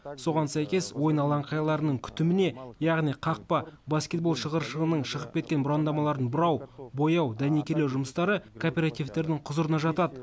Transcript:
соған сәйкес ойын алаңқайларының күтіміне яғни қақпа баскетбол шығыршығының шығып кеткен бұрандамаларын бұрау бояу дәнекерлеу жұмыстары кооперативтердің құзырына жатады